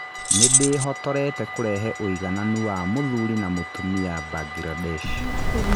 Nĩ ndĩhotorete kũrehe ũigananu wa mũthuri na mũtumia Mbangirandesh.